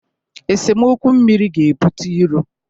Esemokwu mmiri ga-ebute iro.